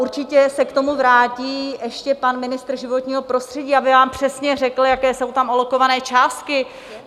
Určitě se k tomu vrátí ještě pan ministr životního prostředí, aby vám přesně řekl, jaké jsou tam alokované částky.